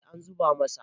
eh an zuba masa